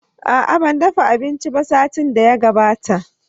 Aa, ban dafa abinci ba satin da ya gabata.